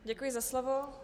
Děkuji za slovo.